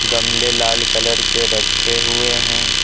गमले लाल कलर के रखे हुए हैं।